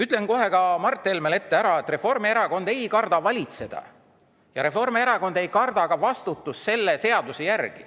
Ütlen kohe ka Mart Helmele ära, et Reformierakond ei karda valitseda ja Reformierakond ei karda vastutada selle seaduse järgi.